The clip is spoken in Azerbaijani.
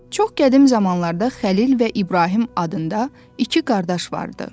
Çox qədim zamanlarda Xəlil və İbrahim adında iki qardaş vardı.